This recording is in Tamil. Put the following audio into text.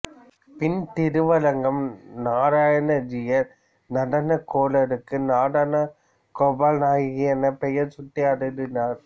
பின் திருவரங்கம் நாராயண ஜீயர் நடனகோலருக்கு நடனகோபால நாயகி என பெயர் சூட்டி அருளினார்